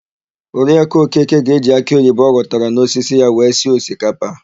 Oriakụ Okeke ga-eji akịoyibo ọ ghọtara n'osisi ya wee sie osikapa.